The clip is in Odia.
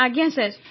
ଆଜ୍ଞା ସାର୍